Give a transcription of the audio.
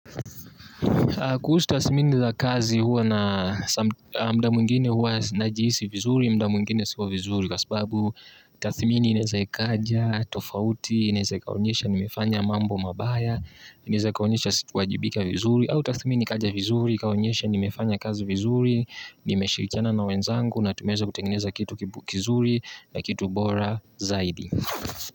Kuhusu tasmini za kazi huwa na muda mwingine huwa najihisi vizuri muda mwingine si wa vizuri kwa sababu tathmini inaeza ikaja tofauti inaeza ikaonyesha nimefanya mambo mabaya inaeza ikaonyesha sikuwajibika vizuri au tathmini ikaja vizuri ikaonyesha nimefanya kazi vizuri nimeshirikiana na wenzangu nameweza kutengeneza kitu kizuri na kitu bora zaidi.